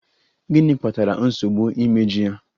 Gịnị kpatara nsogbu imeju ya?